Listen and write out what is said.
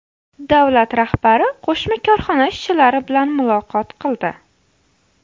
Davlat rahbari qo‘shma korxona ishchilari bilan muloqot qildi.